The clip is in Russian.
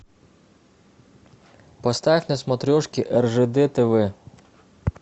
поставь на смотрешке ржд тв